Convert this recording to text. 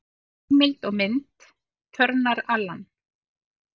Heimild og mynd: Turnar, Alan.